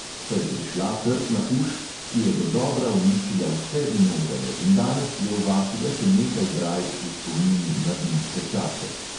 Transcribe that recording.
Pa je prišla trtna uš, ki je dodobra uničila vse vinograde, in danes je v vasi le še nekaj brajd v spomin na vinske čase.